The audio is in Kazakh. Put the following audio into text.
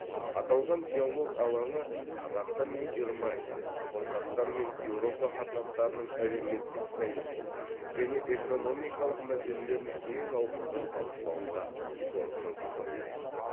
аталған диалог алаңы қазақстан мен германия қазақстан мен еуропа қатынастарының әлеуметтік саяси және экономикалық мәселелерін кең ауқымда талқылауға зор мүмкіндік береді